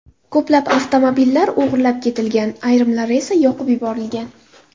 Ko‘plab avtomobillar o‘g‘irlab ketilgan, ayrimlari esa yoqib yuborilgan .